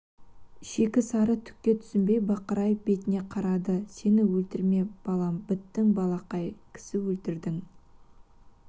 шикі сары түкке түсінбей бақырайып бетіне қарады сені өлтірме балам біттің балақай кісі өлтірдің